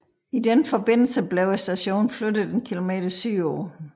I den forbindelse blev stationen flyttet en kilometer sydpå